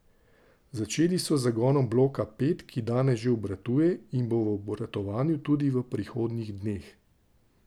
Začeli so z zagonom bloka pet, ki danes že obratuje in bo v obratovanju tudi v prihodnjih dneh.